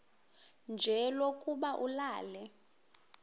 nje lokuba ulale